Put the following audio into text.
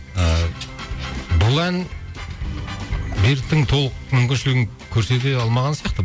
ыыы бұл ән беріктің толық мүмкіншілігін көрсете алмаған сияқты